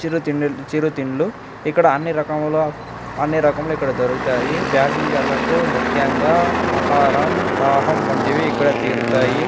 చిరుతిండి చిరు తిండిలు ఇక్కడ అన్ని రకములు అన్ని రకములు ఇక్కడ దొరుకుతాయి పాసెంజర్ లకు ముక్యంగా ఆహారం దాహం వంటివి ఇక్కడ తీరుతాయి--